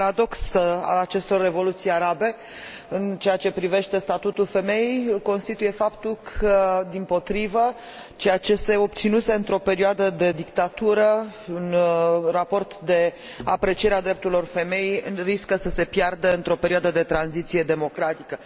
Un paradox al acestor revoluții arabe în ceea ce privește statutul femeii îl constituie faptul că, dimpotrivă, ceea ce se obținuse într o perioadă de dictatură, în raport cu aprecierea drepturilor femeii, riscă să se piardă într o perioadă de tranziție democratică.